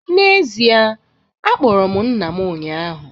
N’ezie, akpọrọ m nna m ụnyahụ